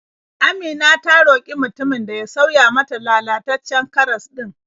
Amina ta roƙi mutumin da ya sauya mata lalataccen karas ɗin.